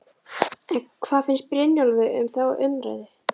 En hvað finnst Brynjólfi um þá umræðu?